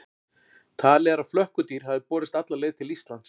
Talið er að flökkudýr hafi borist alla leið til Íslands.